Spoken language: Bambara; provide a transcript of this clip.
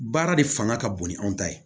Baara de fanga ka bon ni anw ta ye